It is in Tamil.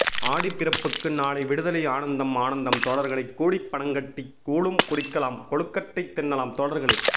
ஆடிப்பிறப்புக்கு நாளை விடுதலை ஆனந்தம் ஆனந்தம் தோழர்களே கூடிப் பனங்கட்டி கூழும் குடிக்கலாம் கொழுக்கட்டை தின்னலாம் தோழர்களே